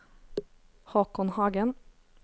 Håkon Hagen